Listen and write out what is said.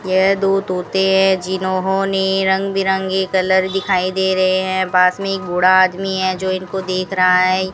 यह दो तोते हैं जिन्होंने रंग बिरंगी कलर दिखाई दे रहे हैं पास में एक बूढ़ा आदमी है जो इनको देख रहा है।